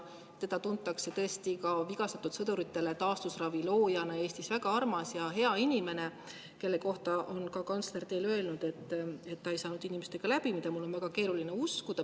Teda tuntakse vigastatud sõduritele taastusravi loojana Eestis, väga armas ja hea inimene, kelle kohta on kantsler teile öelnud, et ta ei saanud inimestega läbi, mida mul on väga keeruline uskuda.